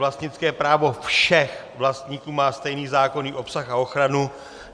Vlastnické právo všech vlastníků má stejný zákonný obsah a ochranu.